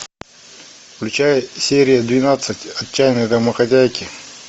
включай серия двенадцать отчаянные домохозяйки